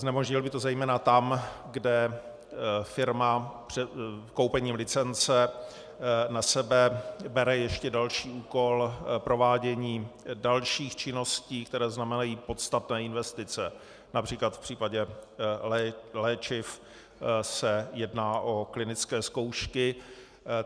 Znemožnil by to zejména tam, kde firma koupením licence na sebe bere ještě další úkol, provádění dalších činností, které znamenají podstatné investice, například v případě léčiv se jedná o klinické zkoušky.